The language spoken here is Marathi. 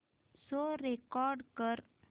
शो रेकॉर्ड कर